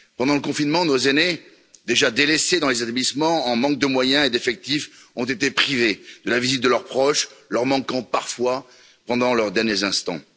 Pendant le confinement, nos aînés, déjà délaissés dans les établissements en manque de moyens et d'effectifs, ont été privés de la visite de leurs proches, leur manquant parfois pendant leurs derniers instants.